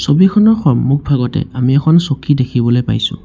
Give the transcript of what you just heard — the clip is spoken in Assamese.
ছবিখনৰ সন্মুখভাগতে আমি এখন চকী দেখিবলে পাইছোঁ।